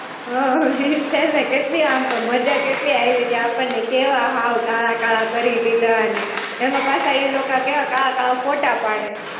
હાં, ઈજ છે ને, કેટલી આમ તો મજા કેટલી આયવી તી. આપણને કેવા હાવ કાળા-કાળા કરી દીધા ને, એમાં પાછા ઈ લોકો કેવા કાળા-કાળા ફોટા પાડે.